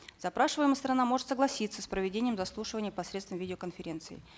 запрашиваемая сторона может согласиться с проведением заслушивания посредством видеоконференции